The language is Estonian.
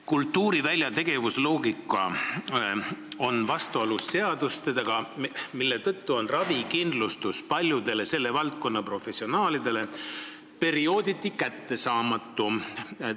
Kultuurivälja tegevusloogika on vastuolus seadustega ja seetõttu on ravikindlustus paljudele selle valdkonna professionaalidele periooditi kättesaamatu.